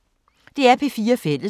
DR P4 Fælles